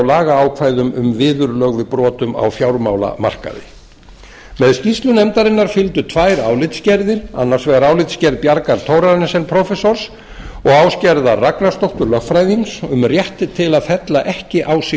lagaákvæðum um viðurlögum við brotum á fjármálamarkaði með skýrslu nefndarinnar fylgdu tvær álitsgerðir annars vegar álitsgerð bjargar thorarensen prófessors og ásgerðar ragnarsdóttur lögfræðings um réttinn til að fella ekki á sig